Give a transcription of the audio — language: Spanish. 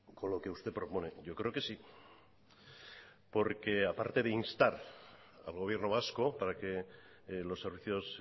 con lo que usted propone yo creo que sí porque aparte de instar al gobierno vasco para que los servicios